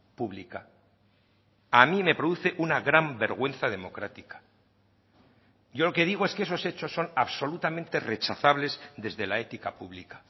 pública a mí me produce una gran vergüenza democrática yo lo que digo es que esos hechos son absolutamente rechazables desde la ética pública